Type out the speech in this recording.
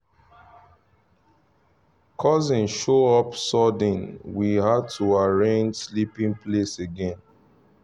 cousin show up sudden we had to arrange sleeping place again